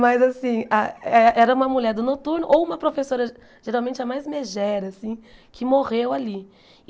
Mas, assim, ah eh era uma mulher do noturno ou uma professora, geralmente a mais megera, assim, que morreu ali.